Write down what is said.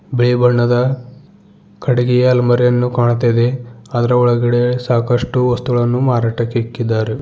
ಬಿಳಿ ಬಣ್ಣದ ಕಡಿಗಿ ಅಲ್ಮಾರಿಯನ್ನು ಕಾಣುತ್ತಾ ಇದೆ ಅದರ ಒಳಗಡೆ ಸಾಕಷ್ಟು ವಸ್ತುಗಳನ್ನು ಮಾರಾಟಕ್ಕೆ ಇಕ್ಕಿದ್ದಾರೆ.